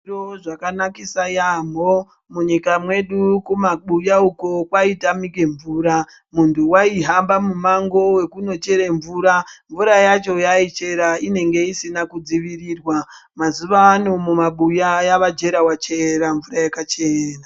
Zviro zvakanakisa yaemho munyika mwedu kumabuya uno kwaitamike mvura muntu waihambe mumango wekunochera mvura, mvura yacho yaaichera inenge isina kudzivirirwa. Mazuwano mumabuya yave jerawachera mvura yakachena.